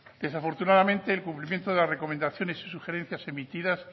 desafortunadamente el cumplimiento de la recomendaciones y sugerencias emitidas